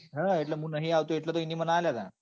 હા હું નઈ આવતો એટલે તો એને મન અલ્યા હતા.